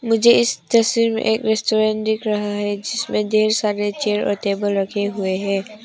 मुझे इस तस्वीर में एक रेस्टोरेंट दिख रहा है जिसमें ढेर सारे चेयर और टेबल रखे हुए हैं।